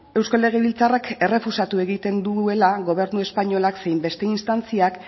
eusko legebiltzarrak errefusatu egiten duela gobernu espainolak zein beste instantziak